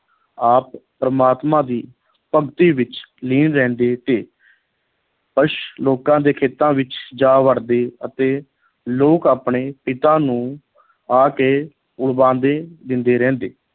ਆਪ ਪ੍ਰਮਾਤਮਾ ਦੀ ਭਗਤੀ ਵਿੱਚ ਲੀਨ ਰਹਿੰਦੇ ਤੇ ਪਸ਼ ਲੋਕਾਂ ਦੇ ਖੇਤਾਂ ਵਿੱਚ ਜਾ ਵੜਦੇ ਅਤੇ ਲੋਕ ਆਪਣੇ ਪਿਤਾ ਨੂੰ ਆ ਕੇ ਦਿੰਦੇ ਰਹਿੰਦੇ।